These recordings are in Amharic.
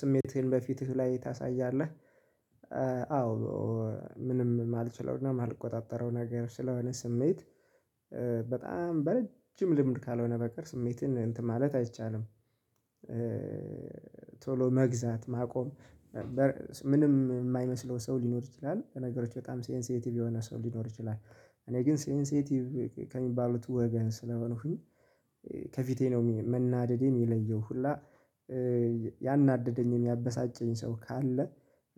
ስሜትህን በፊትህ ላይ ታሳያለህ? አዎ ምንም ማልችለው እና ማልቆጣጠረውም ነገር ስለሆነ ስሜት በጣም በረጅም ልምድ ካልሆነ በቀር ስሜትን እንትን ማለት አይቻልም። ቶሎ መግዛት ማቆም። ምንም የማይመስለው ሰው ሊኖሩ ይችላል በነገሮች በጣም ሴንሲቲቭ የሆነ ሰው ሊኖር ይችላል። እኔ ግን ሴንሲቲቭ ከሚባሉት ወገን ስለሆንኩኝ ከፊቴ ነው መናደዴ የሚለየው ሁላ። ያናደደኝ ያበሳጨኝ ሰው ካለ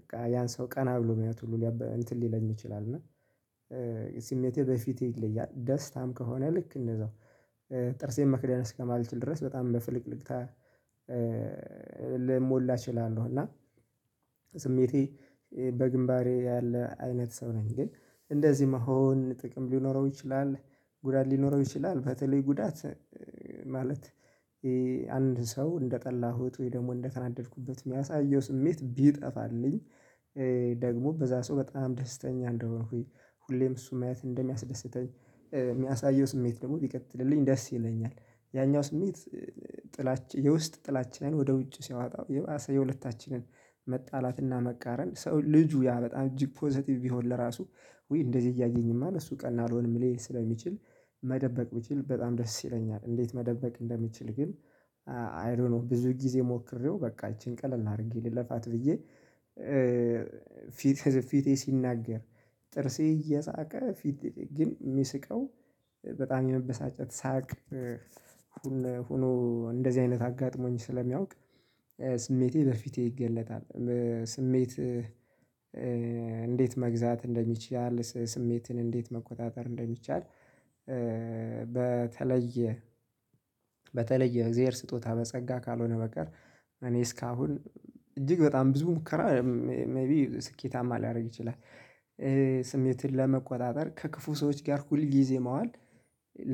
በቃ ያን ሰው ቀና ብሎ ማየት እንትን ሊለኝ ይችላል እና። ስሜቴ በፊቴ ይለያል ደስታም ከሆነ ልክ እነዛው ጥርሴን መክደን እስከማልችል ድረስ በጣም በፍልቅልቅታ። ልሞላ እችላለሁ። እና ስሜቴ በግንባሬ ያለ አይነት ሰው ነኝ። ግን እንደዚህ መሆን ጥቅም ሊኖረው ይችላል። ጉዳት ሊኖረው ይችላል በተለይ ጉዳት ማለት አንድ ሰው እንደጠላሁት ወይ ደግሞ እንደከናደድኩበት የሚያሳየው ስሜት ቢጠፋልኝ። ደግሞ በዛ ሰው በጣም ደስተኛ እንደሆንኩኝ ሁሌም እሱም ማየት እንደሚያስደስተኝ የሚያሳየው ስሜት ደግሞ ቢቀጥልልኝ ደስ ይለኛል። ያኛው ስሜት ጥላቻ የውስጥ ጥላቻዬን ወደ ውጭ ሲያወጣው የባሰ የሁለታችንን መጣላትና መቃረም ሰው ልጁ ያ በጣም እጅግ ፖዘቲቭ ቢሆን ለራሱ ውይ እንደዚህ እያየኝማ እሱ ቀን አልሆንም ሊል ስለሚችል። መደበቅ ቢችል በጣም ደስ ይለኛል። እንዴት መደበቅ እንደምችል ግን አይዶኖው ብዙ ጊዜ ሞክሬው በቃ ይቺን ቀለል አድርጌ ላልፋት ብዬ ፊቴ ሲናገር። ጥርሴ እየሳቀ ፊቴ ግን የሚስቀው በጣም የመበሳጨት ሳቅ። ሆኖ እንደዚህ አይነት አጋጥሞኝ ስለሚያውቅ ስሜቴ በፊቴ ይገለጣል። ስሜት እንዴት መግዛት እንደሚችል ስሜትን እንዴት መቆጣጠር እንደሚቻል? በተለየ በተለየ እግዚአብሔር ስጦታ በጸጋ ካልሆነ በቀር እኔ እስካሁን እጅግ በጣም ብዙ ሙከራ ስኬታማ ሊያደርግ ይችላል። ስሜትን ለመቆጣጠር ከክፉ ሰዎች ጋር ሁል ጊዜ መዋል።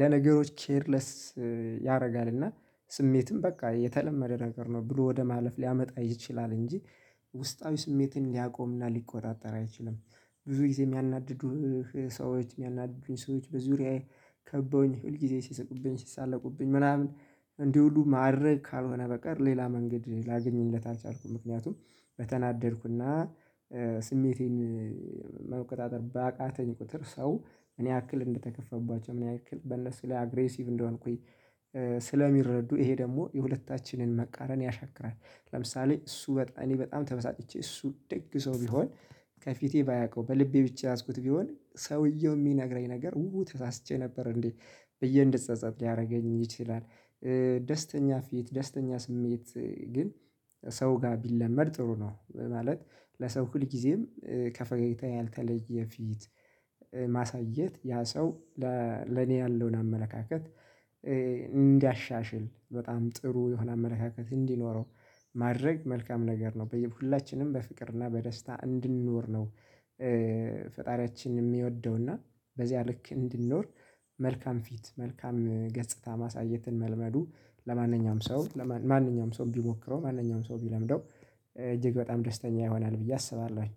ለነገሮች ኬርለስ ያደርጋል እና ስሜትም በቃ የተለመደ ነገር ነው ብሎ ወደ ማለፍ ሊያመጣ ይችላል። እንጂ ውስጣዊ ስሜትን ሊያቆምና ሊቆጣጠር አይችልም። ብዙ ጊዜ የሚያናድዱህ ሰዎች የሚያናድዱኝ ሰዎች በዙሪያዬ ከበውኝ ሁል ጊዜ ሲስቁብኝ ሲሳለቁብኝ ምናምን እንዲውሉ ማድረግ ካልሆነ በቀር ሌላ መንገድ ላገኝለት አልቻልኩም። ምክንያቱም በተናደድኩና ስሜቴን መቆጣጠር ባቃተኝ ቁጥር ሰው ምን ያክል እንደተከፈባቸው ምን ያክል በነሱ ላይ አግሬሲቭ እንደሆንኩኝ። ስለሚረዱ ይሄ ደግሞ የሁለታችንን መቃረን ያሻክራል። ለምሳሌ እሱ በጣም እኔ በጣም ተበሳጭቼ እሱ ደግ ሰው ቢሆን ከፊቴ ባያውቀው በልቤ ብቻ ያዝኩት ቢሆን ሰውየው የሚነግረኝ ነገር ው ተሳስቼ ነበር እንዴ ብዬ እንድጸጸት ሊያደርገኝ ይችላል። ደስተኛ ፊት ደስተኛ ስሜት ግን ሰው ጋር ቢለመድ ጥሩ ነው ማለት። ለሰው ሁል ጊዜም ከፈገግታ ያልተለየ ፊት ማሳየት ያ ሰው። ለኔ ያለውን አመለካከት እንዲያሻሽል በጣም ጥሩ የሆነ አመለካከት እንዲኖረው ማድረግ መልካም ነገር ነው በየሁላችንም በፍቅር እና በደስታ እንድንኖር ነው። ፈጣሪያችን የሚወደው እና በዚያ ልክ እንድንኖር መልካም ፊት መልካም ገጽታ ማሳየትን መልመዱ። ለማንኛውም ሰው ማንኛውም ሰው ቢሞክረው ማንኛውም ሰው ቢለምደው እጅግ በጣም ደስተኛ ይሆናል ብዬ አስባለሁኝ